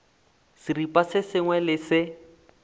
seripa se sengwe le se